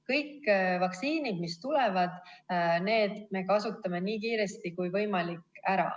Kõik vaktsiinid, mis tulevad, need me kasutame ära nii kiiresti kui võimalik.